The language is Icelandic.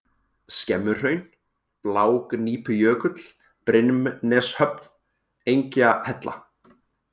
Skemmuhraun, Blágnípujökull, Brimneshöfn, Engjahella